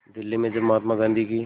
दिल्ली में जब महात्मा गांधी की